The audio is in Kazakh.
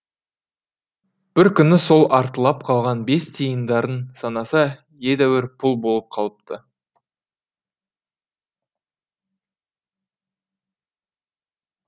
бір күні сол артылып қалған бес тиындарын санаса едәуір пұл болып қалыпты